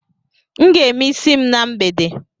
M ga- eme isi m na mgbede